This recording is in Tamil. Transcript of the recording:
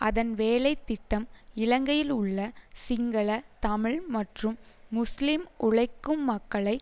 அதன் வேலை திட்டம் இலங்கையில் உள்ள சிங்கள தமிழ் மற்றும் முஸ்லிம் உழைக்கும் மக்களை